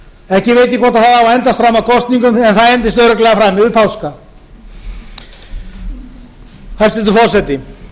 ekki veit ég hvort það á að endast fram að kosningum en það endist örugglega fram yfir páska hæstvirtur forseti